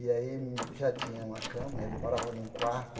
E aí ele já tinha uma cama, ele morava num quarto,